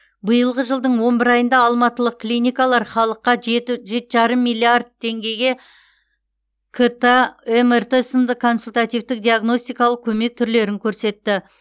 биылғы жылдың он бір айында алматылық клиникалар халыққа жеті жеті жарым миллиард теңгеге кт мрт сынды консультативтік диагностикалық көмек түрлерін көрсетті